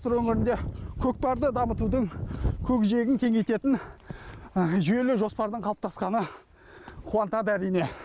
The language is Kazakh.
сыр өңірінде көкпарды дамытудың көкжиегін кеңейтетін жүйелі жоспардың қалыптасқаны қуантады әрине